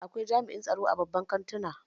Akwai jami'in tsaro a babban kantuna